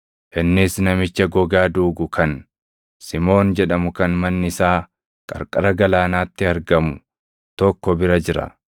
Innis namicha gogaa duugu kan Simoon jedhamu kan manni isaa qarqara galaanaatti argamu tokko bira jira.”